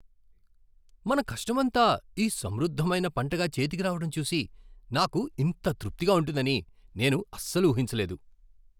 మన కష్టమంతా ఈ సమృద్ధమైన పంటగా చేతికి రావటం చూసి నాకు ఇంత తృప్తిగా ఉంటుందని నేను అస్సలు ఊహించలేదు.